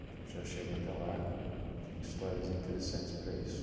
A gente já chega até lá, tem histórias interessantes para isso.